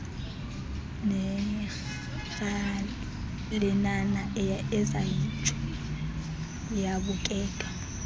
neerhalenana ezayitsho yabukeka